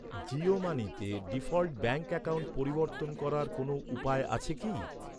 জিও মানিতে default bank account পরিবর্তন করার কোনও উপায় আছে কি?